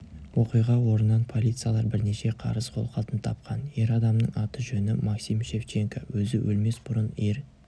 оқиға орнынан полициялар бірнеше қарыз қолхатын тапқан ер адамның аты-жөні максим шевченко өзі өлмес бұрын ер